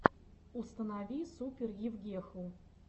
установи супер евгеху